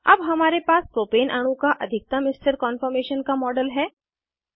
अब हमारे पास प्रोपेन अणु का अधिकतम स्थिर कान्फॉर्मेशन का मॉडल है